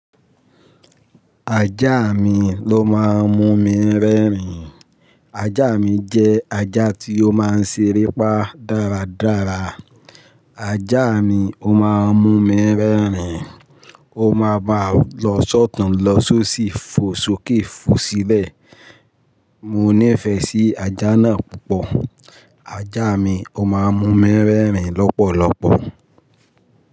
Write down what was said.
Ajá mi ló máa ń mú mi rẹ́rìn. Ajá mi jẹ́ ajá tí ó máa ń ṣeré pá dárádárá. Ajá mi ó máa ń mú mi rẹ́rìn. Ó máa bá lọ sọ́tun lọ só sì fo sókè fo sílẹ̀. Mo nífẹ̀ẹ́ sí ajá náà púpọ̀. Ajá mi ó máa ń mú mi rẹ́rìn lọ́pọ̀lọpọ̀